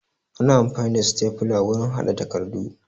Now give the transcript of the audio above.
Ana amfani da stafla wurin haɗa takardu